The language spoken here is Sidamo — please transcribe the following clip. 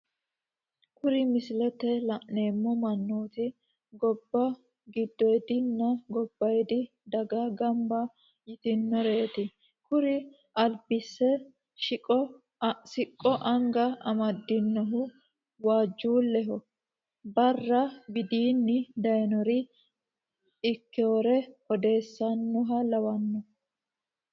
Kuri misilete la'neemo manooti goba gidoyidininna gobayidinni dage gamba yitinoreti, kuni alibise siqqo anga amadinohu waajuleho baara widini dayinorira ikkewore oddeesanoha lawano